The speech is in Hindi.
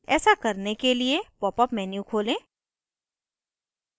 ऐसा करने के लिए popअप menu खोलें